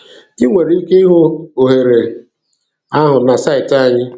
I nwere ike ịhụ ohere ahụ na saịtị anyị.